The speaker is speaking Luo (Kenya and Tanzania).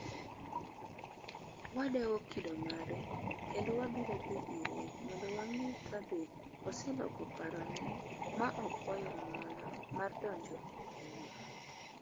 Wadewo kido mare kendo wabiro dhi ire mondo wang’e ka be oseloko parone ma okwayo ng'uono mar donjo e pinywa.